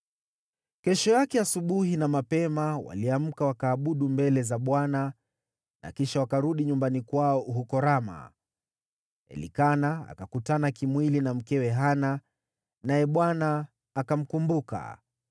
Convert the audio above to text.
Kesho yake asubuhi na mapema waliamka wakaabudu mbele za Bwana na kisha wakarudi nyumbani kwao huko Rama. Elikana akakutana kimwili na mkewe Hana, naye Bwana akamkumbuka.